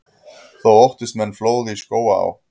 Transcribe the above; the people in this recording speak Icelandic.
Þá óttist menn flóð í Skógaá.